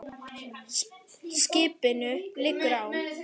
Skipinu liggur á.